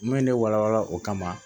Min ne wala wala o kama